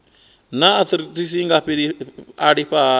naa arthritis i nga alafhiwa hani